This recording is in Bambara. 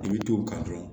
I bɛ t'o kan dɔrɔn